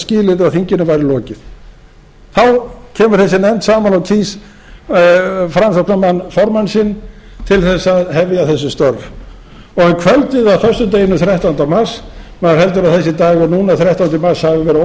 að þinginu væri lokið þá kemur þessi nefnd saman og kýs framsóknarmann formann sinn til þess að hefja þessi störf um kvöldið á föstudeginum þrettánda mars maður heldur að þessi dagur þrettánda mars hafi verið óheilladagur